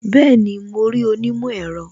Bẹẹni, mo rí onímọ̀ ẹ̀rọ